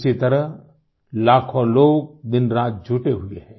इसी तरह लाखों लोग दिन रात जुटे हुए हैं